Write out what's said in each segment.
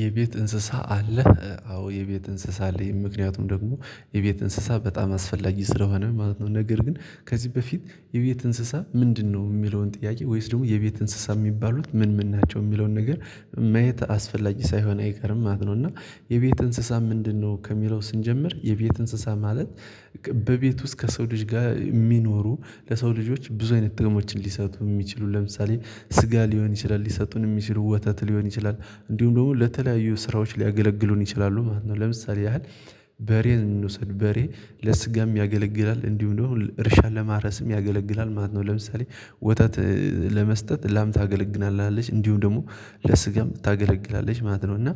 የቤት እንስሳ አለህ? አዎ የቤት እንስሳ አለኝ ምክንያቱም ደግሞ የቤት እንስሳ በጣም አስፈላጊ ስለሆነ ማለት ነው። ነገር ግን ከዚህ በፊት የቤት እንስሳ ምንድነው የሚለውን ጥያቄ ወይስ ደግሞ የቤት እንስሳ የሚባሉት ምን ምን ናቸው የሚለውን ነገር ማየት አስፈላጊ ሳይሆን አይቀርም ማለት ነው። እና የቤት እንስሳ ምንድነው? ከሚለው ስንጀምር የቤት እንስሳ ማለት። በቤት ውስጥ ከሰው ልጅ ጋር የሚኖሩ ለሰው ልጆች ብዙ አይነት ጥቅሞችን ሊሰጡ የሚችሉ ለምሳሌ ስጋ ሊሆን ይችላል። ሊሰጡን የሚችሉ ወተት ሊሆን ይችላል። እንዲሁም ደግሞ ለተለያዩ ስራዎች ሊያገለግሉን ይችላሉ ማለት ነው። ለምሳሌ ያህል። በሬን እንውሰድ በሬ ለስጋም ያገለግላል እንዲሁም ደግሞ እርሻን ለማረስም ያገለግላል ማለት ነው። ለምሳሌ ወታት ለመስጠት ላምታ አገልግናለች እንዲሁም ደግሞ ለስጋም ታገለግላለች ማለት ነው። እና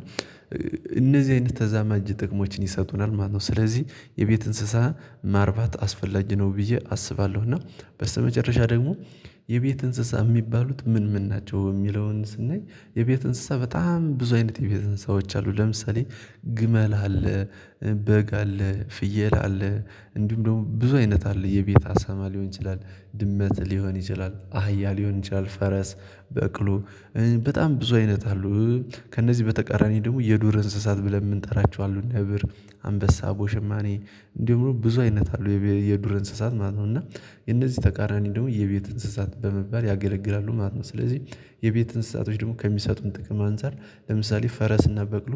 እነዚህ አይነት ተዛማጅ ጥቅሞችን ይሰጡናል ማለት ነው። ነው ስለዚህ የቤት እንስሳ ማርባት አስፈላጅ ነው ብዬ አስባለሁ። እና በስተመጨረሻ ደግሞ የቤት እንስሳ የሚባሉት ምን ምን ናቸው። የሚለውን ስናይ የቤት እንስሳ በጣም ብዙ አይነት የቤት እንስሳዎች አሉ። ለምሳሌ ግመል አለ በግ አለ ፍየል አለ እንዲሁም ደግሞ ብዙ አይነት አለ የቤት አሳማ ሊሆን ይችላል ድመት ሊሆን ይችላል አህያ ሊሆን ይችላል ፈረስ በቅሎ በጣም ብዙ አይነት አሉ። ከእነዚህ በተቃራኒ ደግሞ የዱር እንስሳት ብለን የምንጠራቸው አሉ ነብር አንበሳ አቦሽማኔ እንዲሁ ብዙ አይነት አለው የዱር እንስሳት ማለት ነው። እና የነዚህ ተቃራኒ ደግሞ የቤት እንስሳት በመባል ያገለግላሉ ማለት ነው። ስለዚህ የቤት እንስሳቶች ደግሞ ከሚሰጡን ጥቅም አንፃር ለምሳሌ ፈረስና በቅሎ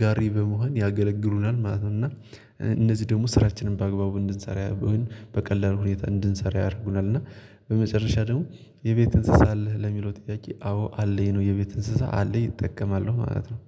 ጋሪ በመሆን ያገለግሉናል ማለት ነው። እና እነዚህ ደግሞ ስራችንን በአግባቡ እንድንሰራ በቀላሉ ሁኔታ እንድንሰራ ያደርጉናል። እና በመጨረሻ ደግሞ የቤት እንስሳ አለህ ለሚለው ጥያቄ አዎ አለኝ ነው የቤት እንስሳ አለኝ እጠቀማለሁ ማለት ነው